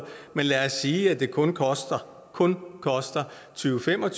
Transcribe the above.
men lad os sige at det kun koster kun koster tyvetusind